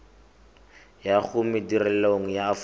ya go madirelo a aforika